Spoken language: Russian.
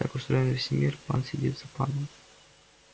так устроен весь мир пан сидит за паном